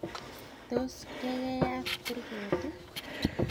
tos kakeyat kurget?